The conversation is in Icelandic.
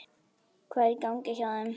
Hvað er í gangi hjá þeim?